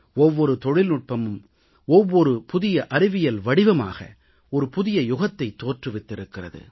ஒவ்வொரு தொழில்நுட்பமும் ஒவ்வொரு புதிய அறிவியல் வடிவமாக ஒரு புதிய யுகத்தைத் தோற்றுவித்திருக்கிறது